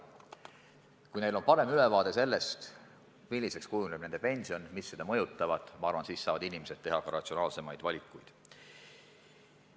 Kui neil on parem ülevaade sellest, milliseks nende pension kujuneb ja mis seda mõjutab, siis ma arvan, et inimesed saavad teha ratsionaalsemaid valikuid.